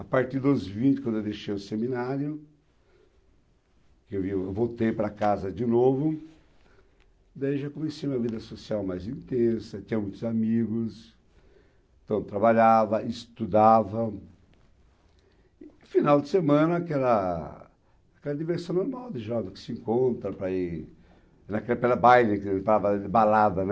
A partir dos vinte, quando eu deixei o seminário, que eu vim, eu voltei para casa de novo, daí eu já comecei uma vida social mais intensa, tinha muitos amigos, então eu trabalhava, estudava, e, no final de semana, aquela aquela diversão normal de jovens que se encontram para ir... Naquela época era baile, quer dizer a palavra de balada, né?